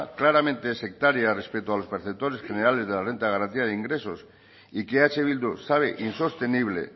claramente sectaria respecto a los perceptores generales de la renta de garantía de ingresos y que eh bildu sabe insostenible